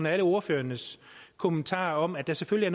og alle ordførernes kommentarer om at der selvfølgelig